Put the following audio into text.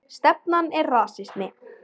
Stefnan er rasismi